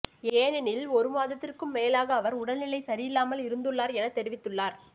ஏனெனில் ஒரு மாதத்திற்கும் மேலாக அவர் உடல்நிலை சரியில்லாமல் இருந்துள்ளார் என தெரிவித்துள்ளார்